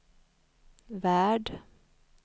värld